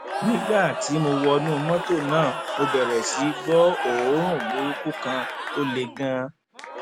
nígbà tí mo wọnú mọtò náà mo bẹrẹ sí í gbọ òórùn burúkú kan tó le ganan